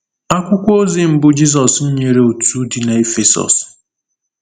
Akwụkwọ ozi mbụ Jizọs nyere òtù dị na Efesọs.